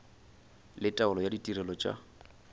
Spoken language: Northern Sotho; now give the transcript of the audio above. le taolo ya ditirelo tša